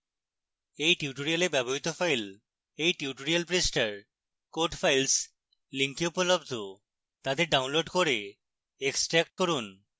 এই tutorial ব্যবহৃত files এই tutorial পৃষ্ঠায় code files link উপলব্ধ তাদের ডাউনলোড করে এক্সট্র্যাক্ট করুন